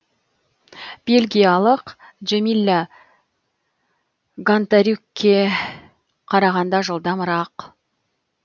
бельгиялық джемилла гонтарюкке қарағанда жылдамырақ